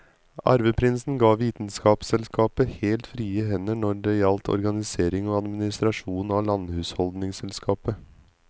Arveprinsen ga vitenskapsselskapet helt frie hender når det gjaldt organisering og administrasjon av landhusholdningsselskapet.